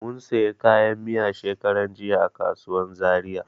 Mun sayi kayan miya shekaran jiya a kasuwan Zaria.